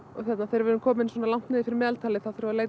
þegar við erum komin svona langt niður fyrir meðaltalið þá þarf að leita